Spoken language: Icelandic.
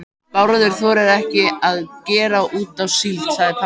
Bárður þorir ekki að gera út á síld, sagði pabbi.